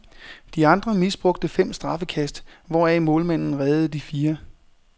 De andre misbrugte fem straffekast, hvoraf målmanden reddede de fire.